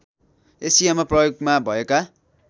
एसियामा प्रयोगमा भएका